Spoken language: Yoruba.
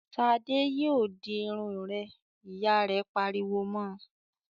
"Ṣadé yóò di irun rẹ!" Ìyá rẹ̀ pariwo mọ.